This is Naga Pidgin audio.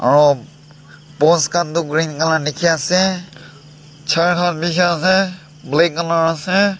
aro post khan du green colour dikhi asey chair khan dikhi asey black colour asey.